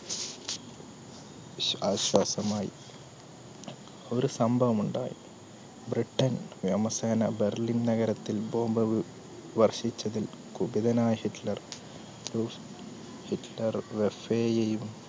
ആശ്വാസമായി ഒരു സംഭവമുണ്ട് ബ്രിട്ടൻ വ്യോമസേന ബെർലിൻ നഗരത്തിൽ bomb വർഷിച്ചതിൽ കുപിതനായ ഹിറ്റ്ലർ